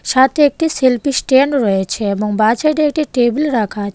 সাথে একটি selfie stand রয়েছে এবং বাঁ সাইডে একটি টেবিল রাখা আছে.